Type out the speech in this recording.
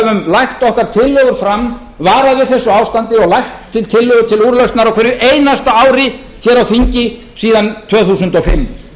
lagt okkar tillögur fram varað við þessu ástandi og lagt til tillögur til úrlausnar á hverju einasta ári á þingi síðan tvö þúsund og fimm